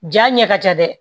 Ja ɲɛ ka ca dɛ